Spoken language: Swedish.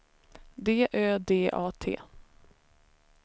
D Ö D A T